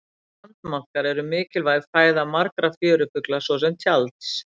Sandmaðkar eru mikilvæg fæða margra fjörufugla svo sem tjalds.